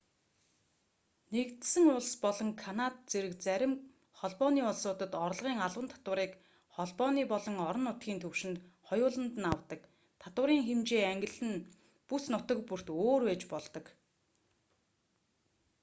нэгдсэн улс болон канад зэрэг зарим холбооны улсуудад орлогын албан татварыг холбооны болон орон нутгийн түвшинд хоёуланд нь авдаг татварын хэмжээ ангилал нь бүс нутаг бүрт өөр байж болдог